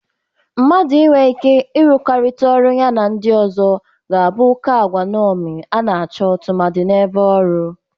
Mmadụ inwe ike ịrụkọrịta ọrụ ya na ndị ọzọ ga na-abụ oke agwa nñomi a na-achọ tụmadị n'ebe ọrụ.